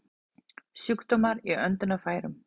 Sjúkdómar í öndunarfærum